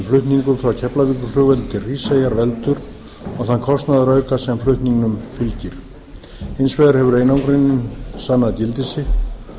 flutningur frá keflavíkurflugvelli til hríseyjar veldur og þann kostnaðarauka sem flutningnum fylgir hins vegar hefur einangrunin sannað gildi sitt